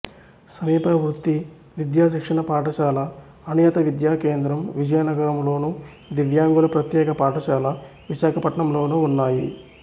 సమీప వృత్తి విద్యా శిక్షణ పాఠశాల అనియత విద్యా కేంద్రం విజయనగరంలోను దివ్యాంగుల ప్రత్యేక పాఠశాల విశాఖపట్నం లోనూ ఉన్నాయి